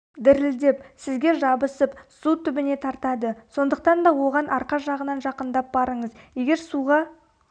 дірілдеп сізге жабысып су түбіне тартады сондықтан да оған арқа жағынан жақындап барыңыз егер суға